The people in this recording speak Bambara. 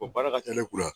O baara ka ca ne kun na